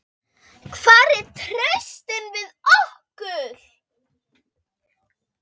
Hvar er traustið við okkur?